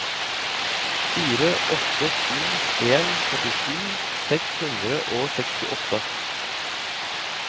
fire åtte to en førtisju seks hundre og sekstiåtte